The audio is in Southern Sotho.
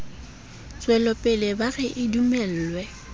tswelopele ba re a dumellwe